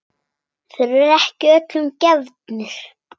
Þeir eru ekki öllum gefnir.